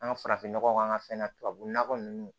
An ka farafinnɔgɔ k'an ka fɛn na tubabu nɔgɔ ninnu